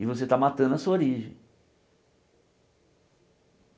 E você está matando a sua origem.